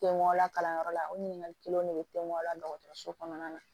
Te mɔgɔ la kalanyɔrɔ la o ɲininkali kelen o de be a la dɔgɔtɔrɔso kɔnɔna na